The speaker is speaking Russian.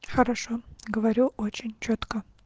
хорошо говорю очень чётко